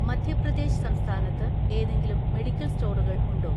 മധ്യപ്രദേശ് സംസ്ഥാനത്ത് ഏതെങ്കിലും മെഡിക്കൽ സ്റ്റോറുകൾ ഉണ്ടോ?